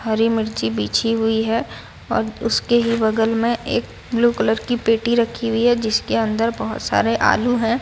हरी मिर्च बिछी हुई है और उसके ही बगल में एक ब्लू कलर की पेटी रखी हुई है जिसके अंदर बहोत सारे आलू है।